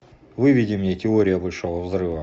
выведи мне теория большого взрыва